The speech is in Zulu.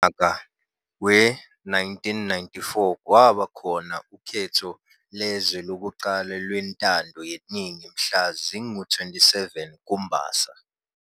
Ngonyaka we-1994 kwaba khona ukhetho lwezwe lokuqala lwentando yeningi mhla zinga-27 uMbasa.